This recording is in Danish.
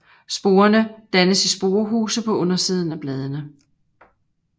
Sporerne dannes i sporehuse på undersiden af bladene